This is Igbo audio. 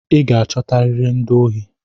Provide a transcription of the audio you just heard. I ga-achotariri ndị ohi!